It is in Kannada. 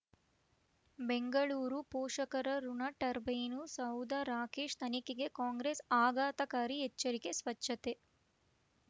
ಬೆಂಗಳೂರು ಪೋಷಕರಋಣ ಟರ್ಬೈನು ಸೌಧ ರಾಕೇಶ್ ತನಿಖೆಗೆ ಕಾಂಗ್ರೆಸ್ ಆಘಾತಕಾರಿ ಎಚ್ಚರಿಕೆ ಸ್ವಚ್ಛತೆ